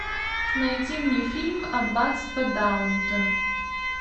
найди мне фильм аббатство даунтон